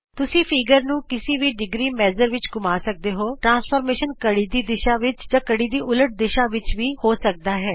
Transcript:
ਤੁਸੀਂ ਚਿੱਤਰ ਨੂੰ ਕਿਸੀ ਵੀ ਡਿਗਰੀ ਮਾਪ ਵਿਚ ਘੁੰਮਾ ਸਕਦੇ ਹੋਪਰਿਕਰਮਣ ਘੜੀ ਦੀ ਦਿਸ਼ਾ ਖੱਬੇ ਤੋਂ ਸੱਜੇ ਵਿਚ ਜਾਂ ਘੜੀ ਦੀ ਉਲਟ ਦਿਸ਼ਾ ਵਿਚ ਵੀ ਹੋ ਸਕਦਾ ਹੈ